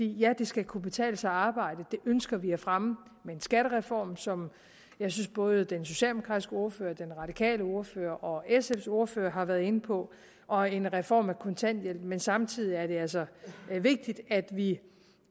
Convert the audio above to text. ja det skal kunne betale sig at arbejde det ønsker vi at fremme med en skattereform som jeg synes både den socialdemokratiske ordfører den radikale ordfører og sfs ordfører har været inde på og en reform af kontanthjælpen men samtidig er det altså vigtigt at vi